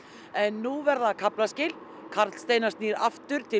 en nú verða kaflaskil Karl Steinar snýr aftur til